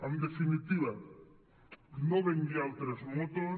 en definitiva no vengui altres motos